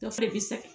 Dɔ fɛnɛ be sa